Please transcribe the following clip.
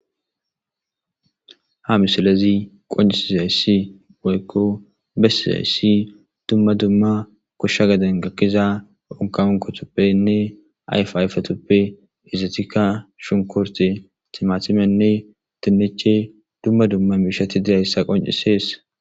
Ha misilezi qoncisizayssi woykko bessizayssi dumma dumma koshsha gaden gakkiza onkaunkotoppenne ayf ayfetoppe izetikka shunkorte timatimenne tinneche dumma dumma miishati diyayssa qoncisees.